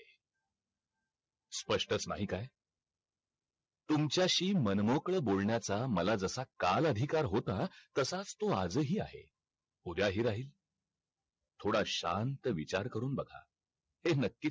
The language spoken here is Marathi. स्पष्टच नाही काय तुमच्याशी मनमोकळ बोलण्याचा मला जसा काल अधिकार होता तसाच तो आज ही आहे उद्या हि राहील. थोडा शांत विचार करून बघा. हे नकीच